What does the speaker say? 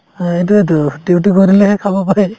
অ, এইটোয়েতো duty কৰিলেহে খাব পাই